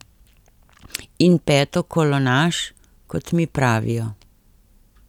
In petokolonaš, kot mi pravijo.